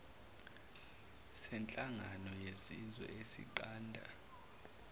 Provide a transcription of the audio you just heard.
senhlangano yezizwe esinqanda